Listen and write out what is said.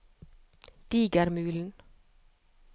Digermulen